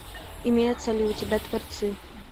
имеются ли у тебя творцы